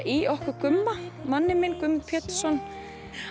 í okkur Gumma manninn minn Guðmund Pétursson